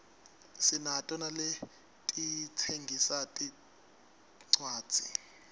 sinato naletitsengisa tincuadzi